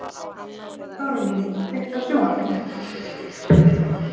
Þórný, kveiktu á sjónvarpinu.